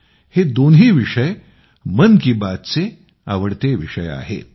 हे दोन्ही विषय मन की बातचे आवडते विषय आहेत